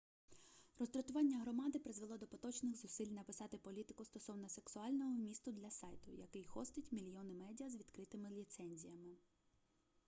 роздратування громади призвело до поточних зусиль написати політику стосовно сексуального вмісту для сайту який хостить мільйони медіа з відкритими ліцензіями